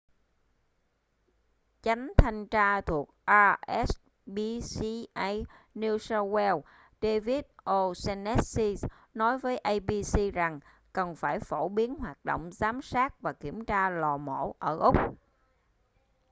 chánh thanh tra thuộc rspca new south wales david o'shannessy nói với abc rằng cần phải phổ biến hoạt động giám sát và kiểm tra lò mổ ở úc